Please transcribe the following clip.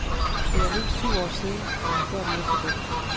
Det er mindst syv år siden, han har gjort noget så dumt.